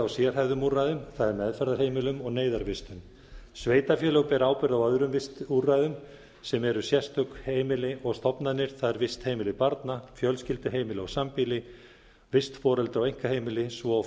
sérhæfðum úrræðum það er meðferðarheimilum og neyðarvistun sveitarfélög bera ábyrgð á öðrum vistúrræðum sem eru sérstök heimili og stofnanir það er vistheimili barna fjölskylduheimili og sambýli vistforeldra og einkaheimili svo og